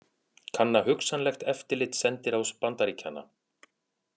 Kanna hugsanlegt eftirlit sendiráðs Bandaríkjanna